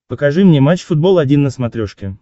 покажи мне матч футбол один на смотрешке